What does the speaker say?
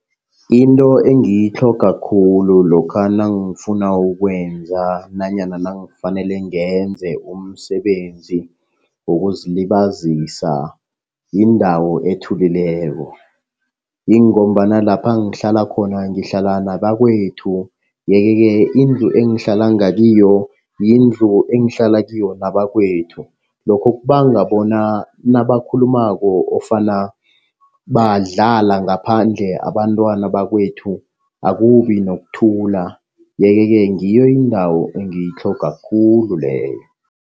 Into engiyitlhoga khulu lokha nangifuna ukwenza nanyana nangifanele ngenze umsebenzi wokuzilibazisa yindawo ethulileko. Yingombana lapha ngihlala khona ngihlala nabakwethu. Yeke-ke indlu engihlala ngakiyo yindlu engihlala kiyo nabakwethu. Lokho kubanga bona nabakhulumako ofana badlala ngaphandle abantwana bakwethu, akubi nokuthula. Yeke-ke ngiyo indawo engitlhoga khulu leyo.